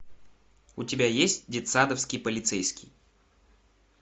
у тебя есть детсадовский полицейский